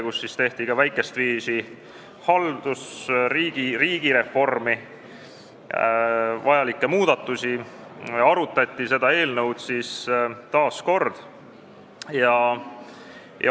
Sellel istungil tehti väikestviisi haldus- ja riigireformi jaoks vajalikke muudatusi ja arutati seda eelnõu taas kord.